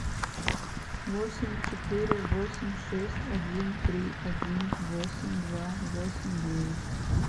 восемь четыре восемь шесть один три один восемь два восемь девять